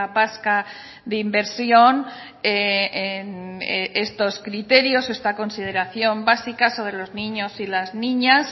vasca de inversión estos criterios esta consideración básica sobre los niños y las niñas